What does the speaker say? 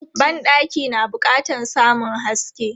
Ban ɗaki na bukatan samun haske.